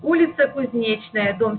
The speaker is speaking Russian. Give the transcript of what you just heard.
улица кузнечная дом